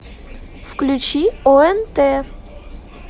включи онт